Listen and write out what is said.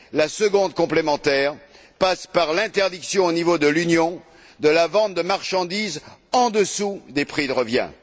La seconde, complémentaire, passe par l'interdiction au niveau de l'Union de la vente de marchandises en dessous des prix de revient.